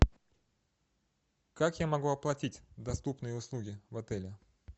как я могу оплатить доступные услуги в отеле